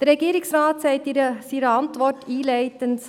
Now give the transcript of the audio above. Der Regierungsrat sagt in seiner Antwort einleitend: